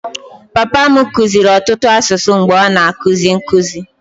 Papa m kụziiri ọtụtụ asụsụ mgbe ọ na-akuzi nkụzi.